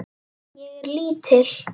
Ég er lítil.